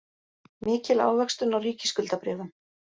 Mikil ávöxtun á ríkisskuldabréfum